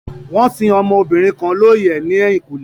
Wón sin ọmọdébìnrin kan looyẹ ní ẹ̀yìnkùlé